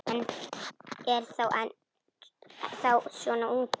Hann er þá svona ungur.